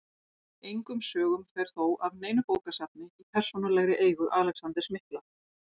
Engum sögum fer þó af neinu bókasafni í persónulegri eigu Alexanders mikla.